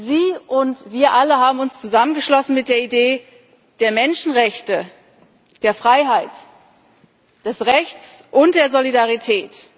Sie und wir alle haben uns zusammengeschlossen mit der Idee der Menschenrechte, der Freiheit, des Rechts und der Solidarität.